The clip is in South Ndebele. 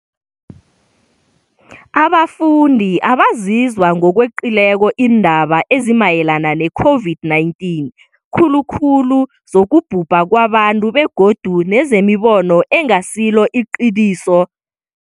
abafundi abazizw a ngokweqileko iindaba ezimayelana ne-COVID-19, khulukhulu zokubhubha kwabantu begodu nezemibono engasilo iqiniso ngengogwana le, njengombana lokhu kungakhwezelela ivalo labo begodu kubange ukugandeleleka komkhumbulo.